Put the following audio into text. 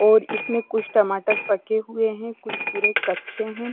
और इसमें कुछ टमाटर पके हुए हैं कुछ पूरे कच्चे हैं।